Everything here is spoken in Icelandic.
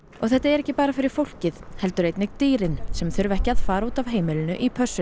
þetta er ekki bara fyrir fólkið heldur einnig dýrin sem þurfa ekki að fara út af heimilinu í pössun